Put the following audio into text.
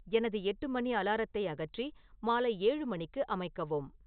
எனது எட்டு மணி அலாரத்தை அகற்றி மாலை ஏழு மணிக்கு அமைக்கவும்